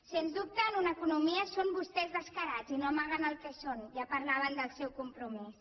sens dubte en economia són vostès descarats i no amaguen el que són ja parlaven del seu compromís